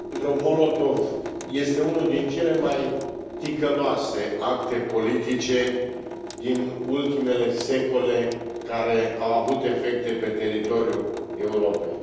Pactul Ribbentrop Molotov este unul din cele mai ticăloase acte politice din ultimele secole care au avut efecte pe teritoriul Europei.